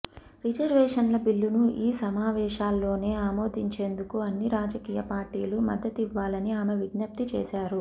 రిజర్వేషన్ల బిల్లును ఈ సమావేశాల్లోనే ఆమోదించేందుకు అన్ని రాజకీయ పార్టీలు మద్దతివ్వాలని ఆమె విజ్ఞప్తి చేశారు